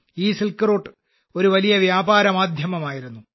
ഈ silk route ഒരു വലിയ വ്യാപാരമാധ്യമം ആയിരുന്നു